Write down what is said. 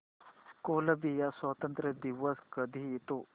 Colombia स्वातंत्र्य दिवस कधी येतो